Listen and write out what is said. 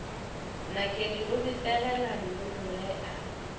nakedi o befegela nnonoge a